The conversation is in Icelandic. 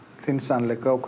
eigin sannleika og